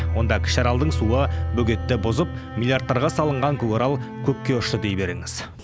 онда кіші аралдың суы бөгетті бұзып миллиардтарға салынған көкарал көкке ұшты дей беріңіз